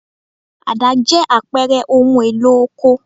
Àdá jẹ́ àpẹẹrẹ ohun-èlò oko.